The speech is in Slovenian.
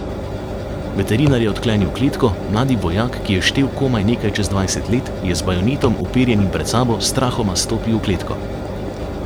Veterinar je odklenil kletko, mladi vojak, ki je štel komaj nekaj čez dvajset let, je z bajonetom, uperjenim pred sabo, strahoma stopil v kletko.